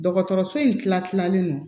Dɔgɔtɔrɔso in tila kilalen don